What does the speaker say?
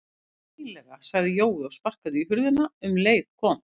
Hvess konar eiginlega sagði Jói og sparkaði í hurðina en um leið kom